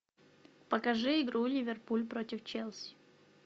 покажи игру ливерпуль против челси